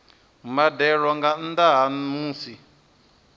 mbadelo nga nnda ha musi